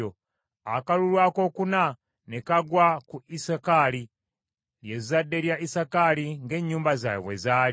Akalulu akookuna ne kagwa ku Isakaali, lye zadde lya Isakaali ng’ennyumba zaabwe bwe zaali: